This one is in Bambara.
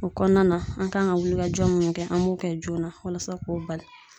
O kɔnɔna na ,an kan ka wulikajɔ mun kɛ ,an b'o kɛ joona walasa k'o bali.